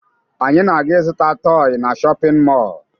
Anyị na-aga ịzụta tọọyị na shọpịn mọọ